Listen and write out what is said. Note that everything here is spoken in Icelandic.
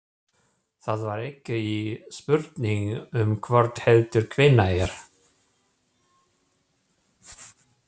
Það var ekki spurning um hvort heldur hvenær.